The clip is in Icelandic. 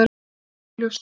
Það sem augljóst er!